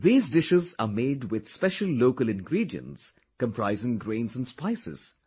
These dishes are made with special local ingredients comprising grains and spices